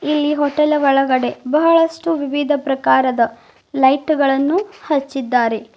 ಇಲ್ಲಿ ಹೋಟೆಲ್ ಒಳಗಡೆ ಬಹಳಷ್ಟು ವಿವಿಧ ಪ್ರಕಾರದ ಲೈಟ್ ಗಳನ್ನು ಹಚ್ಚಿದ್ದಾರೆ.